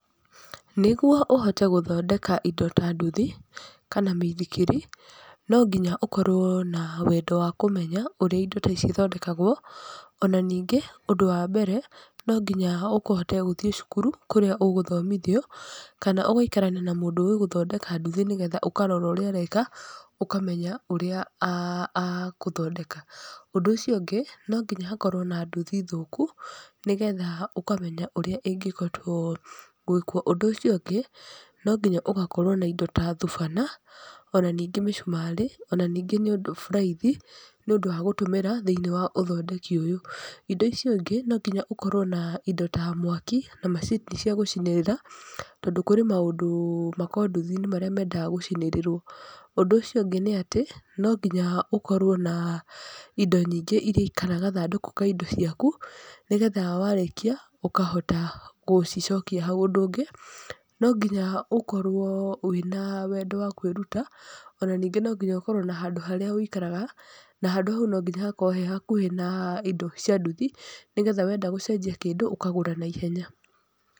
Nĩguo ũhote gũthondeka indo ta nduthi, kana mĩithikiri, no nginya ũkorwo na wendo wa kũmenya ũrĩa indo ta ici ithondekagwo, ona ningĩ ũndũ wambere, no nginya ũhote gũthiĩ cukuru kũrĩa ũgũthomithio kana ũgũikarania na mũndũ ũĩ gũthondeka nduthi nĩgetha ũkarora ũrĩa areka, ũkamenya ũrĩa agũthondeka, ũndũ ũcio ũngĩ no nginya hakorwo na nduthi thũku, nĩgetha ũkamenya ũrĩa ĩngĩhotwo gũĩkwo. Ũndũ ũcio ũngĩ, no nginya ũgakorwo na indo ta thubana, ona ningĩ mĩcumarĩ, ona ningĩ nĩ ũndũ buraithi nĩ ũndũ wa gũtũmĩra thĩinĩ wa ũthondeki ũyũ. Indo icio ingĩ no nginya ũkorwo na indo ta mwaki, na macini cia gũcinĩrĩra, tondũ kũrĩ maũndũ makoragwo nduthi-inĩ marĩa mendaga gũcinĩrĩrwo, ũndũ ũcio ũngĩ n atĩ no nginya ũkorwo na indo nyingĩ kana gathandũkũ ka indo ciaku, nĩgetha warĩkia ũkahota gũcicokia hau. Ũndũ ũngĩ, no nginya ũkorwo wĩna wendo wakwĩruta, ona ningĩ no nginya ũkorwo na handũ harĩa ũikagara, na handũ hau no nginya hakorwo he hakuhĩ na indo cia nduthi, nĩgetha wenda gũcenjia kĩndũ, ũkagũra naihenya.